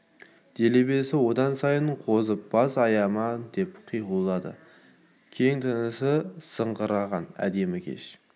делебесі одан сайын қозып бас аяма деп қиқулады кең тынысты сыңғыраған әдемі кеш